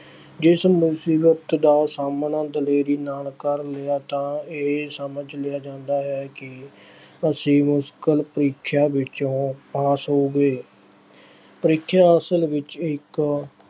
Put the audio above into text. ਜਿਸ ਮੁਸੀਬਤ ਦਾ ਸਾਹਮਣਾ ਦਲੇਰੀ ਨਾਲ ਕਰ ਲਿਆ ਤਾਂ ਇਹ ਸਮਝ ਲਿਆ ਜਾਂਦਾ ਹੈ ਕਿ ਅਸੀਂ ਮੁਸ਼ਕਿਲ ਪ੍ਰੀਖਿਆ ਵਿੱਚੋਂ pass ਹੋ ਗਏ। ਪ੍ਰੀਖਿਆ ਅਸਲ ਵਿੱਚ ਇੱਕ